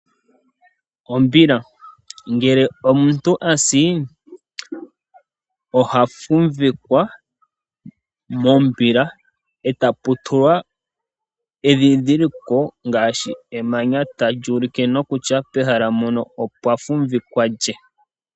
Ombila Ngele omuntu a si oha fumvikwa mombila, e tapu tulwa endhindhiliko ngaashi emanya tali ulike nokutya pehala mpono opwa fumvikwa lye.